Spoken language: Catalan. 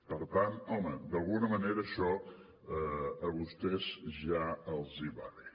per tant home d’alguna manera això a vostès ja els va bé